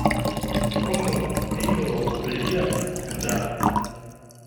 Shomo inchoo oldia endaa.